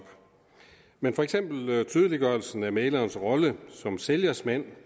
men for eksempel tydeliggørelsen af mæglerens rolle som sælgers mand